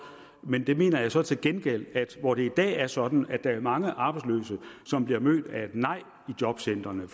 men der mener jeg så til gengæld at hvor det i dag er sådan at der er mange arbejdsløse som bliver mødt af et nej i jobcentrene